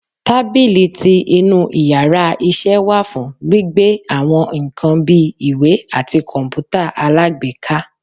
tábilí tí inú íyarà iṣẹ wa fún gbíbe awọn nkán bi, ìwè atí kọǹpútà alágbèéká.